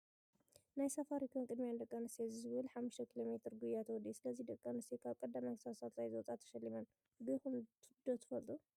ናይ ሳፋሪኮም ቅድሚያ ንደቂ ኣንስትዮ ዝብል 5 ኪሎ ሜትር ጉያ ተወዲኡ ።ሰለስተ ደቂ ኣንስትዮ ካብ ቀዳማይ ክሳብ ሳልሳይ ዝወፃ ተሸሊመን ።ጎይኩም ዶ ትፈልጡ?